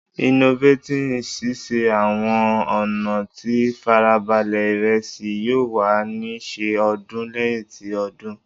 Innovating sise awọn ọna ti farabale iresi yoo wa ni ṣe ọdún lẹhin ti odun